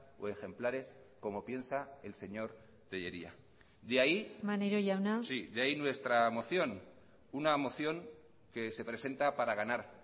o ejemplares como piensa el señor tellería de ahí maneiro jauna sí de ahí nuestra moción una moción que se presenta para ganar